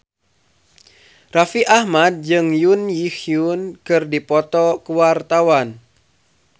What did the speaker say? Raffi Ahmad jeung Jun Ji Hyun keur dipoto ku wartawan